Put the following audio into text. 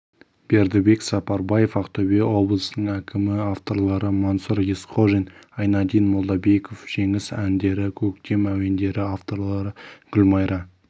бердібек сапарбаев ақтөбе облысының әкімі авторлары мансұр есқожин айнадин молдабеков жеңіс әндері көктем әуендері авторлары гүлмайра